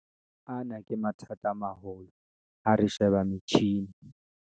Ana ke mathata a maholo ha re sheba metjhini